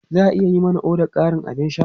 Za a iya yi mana ƙarin odar abin sha?